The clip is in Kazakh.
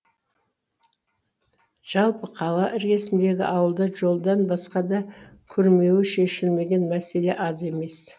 жалпы қала іргесіндегі ауылда жолдан басқа да күрмеуі шешілмеген мәселе аз емес